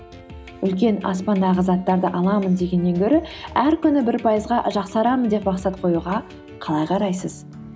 үлкен аспандағы заттарды аламын дегеннен гөрі әр күні бір пайызға жақсарамын деп мақсат қоюға қалай қарайсыз